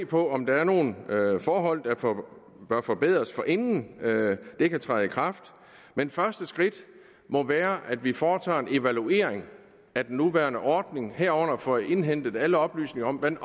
på om der er nogle forhold der bør forbedres forinden det kan træde i kraft men første skridt må være at vi foretager en evaluering af den nuværende ordning herunder får indhentet alle oplysninger om hvordan